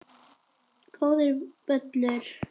Góður völlur.